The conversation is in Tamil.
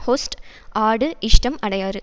ஹொஸ்ட் ஆடு இஷ்டம் அடையாறு